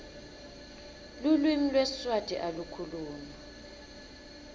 lulwimi lwesiswati alu khulunywa